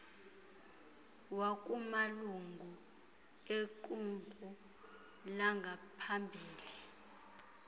wakumalungu equmrhu langaphambili